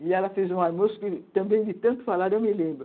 E ela fez um almoço que, também de tanto falar, eu me lembro.